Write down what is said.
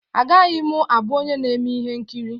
Agaghị m abụ onye na-eme ihe nkiri.